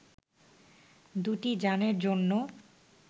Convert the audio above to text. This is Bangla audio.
দু’টি যানের জন্য